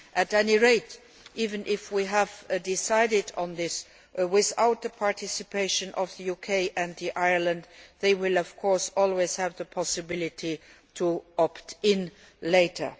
At any rate, even if we decide on this without the participation of the UK and Ireland, they will of course always have the possibility of opting in later.